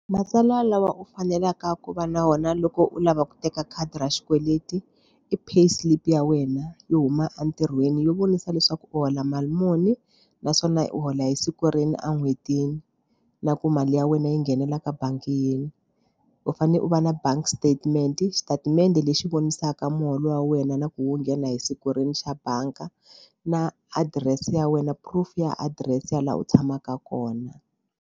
Matsalwa lawa u faneleke ku va na wona loko u lava ku teka khadi ra xikweleti i payslip ya wena yo huma entirhweni yo vonisa leswaku u hola mali muni naswona u hola hi siku rini a n'hwetini na ku mali ya wena yi nghenelela ka bangi yini u fane u va na bank statement xitatimende lexi vonisaka muholo wa wena na ku wo nghena hi siku rini xa banga na adirese ya wena proof ya adirese ya laha u tshamaka kona.